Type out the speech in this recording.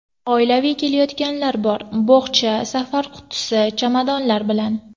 Oilaviy kelayotganlar bor bo‘xcha, safar qutisi, chamadonlar bilan.